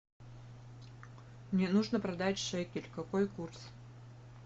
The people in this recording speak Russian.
мне нужно продать шекель какой курс